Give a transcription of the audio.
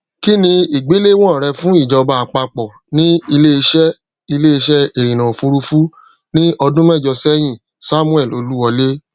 ki ni igbelewọn rẹ fun ijọba apapọ ni ileiṣẹ ileiṣẹ irinna ofurufu ni ọdun mẹjọ sẹyin samuel oluwole